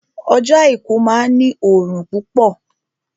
Ọjọ́ àìkú máa ní òrùn púpọ̀